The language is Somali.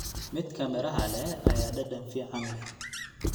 Midka miraha leh ayaa dhadhan fiican leh.